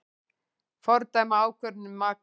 Fordæma ákvörðun um makríl